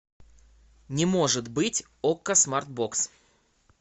не может быть окко смартбокс